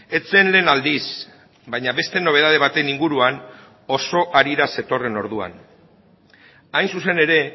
ez zen lehen aldiz baina beste nobedade baten inguruan oso harira zetorren orduan hain zuzen ere